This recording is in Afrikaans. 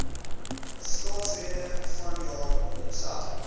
staatsrede vanjaar homself